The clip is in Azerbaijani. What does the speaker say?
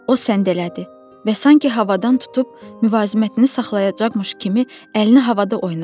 O səndələdi və sanki havadan tutub müvazinətini saxlayacaqmış kimi əlini havada oynatdı.